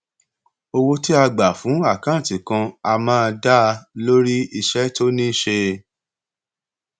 owó tí a gba fún àkáǹtì kan a máa dá a lórí iṣẹ tó ní í ṣe